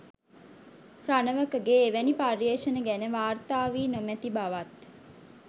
රණවකගේ එවැනි පර්යේෂණ ගැන වාර්තා වී නොමැති බවත්